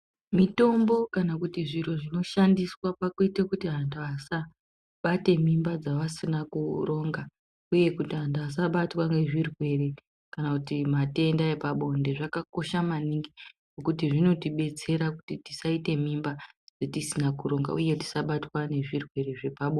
Mitombo kanakuti zviro zvinoshandiswa pakuite kuti antu asa bate mimba dzavasina kuronga, uye kuti antu asabatwa ngezvirwere kana kuti matenda epabonde. Zvakakosha maningi ngekuti zvinotibetsera kuti tisaite mimba dzitisina kuronga, uye tisabatwa ngezvirwere zvepabonde.